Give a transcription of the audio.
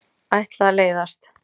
Ætla að leiðast.